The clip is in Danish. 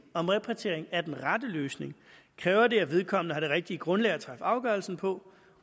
om repatriering er den rette løsning kræver det at vedkommende har det rigtige grundlag at træffe afgørelsen på